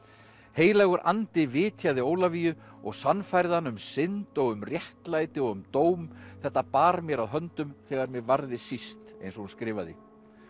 heilagur andi vitjaði Ólafíu og sannfærði hana um synd og um réttlæti og um dóm þetta bar mér að höndum þegar mig varði síst eins og hún skrifaði